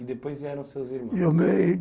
E depois vieram seus irmãos